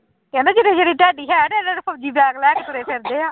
ਕਹਿੰਦੇ ਜਿੱਡੀ ਜਿੱਡੀ ਤੁਹਾਡੀ height ਹੈ ਇਡੇ ਇਡੇ ਫ਼ੋਜ਼ੀ ਬੈਗ ਲੈ ਕੇ ਤੁਰੇ ਫਿਰਦੇ ਆ